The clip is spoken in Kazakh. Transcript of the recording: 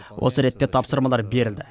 осы ретте тапсырмалар берілді